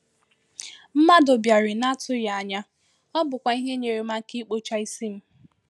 Mmadụ bịàrị̀ n’atụghị anya, ọ́ bùkwa ihe nyere m aka ikpocha isi m